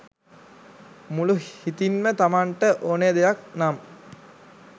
මුළු හිතින්ම තමන්ට ඕනෙ දෙයක් නම්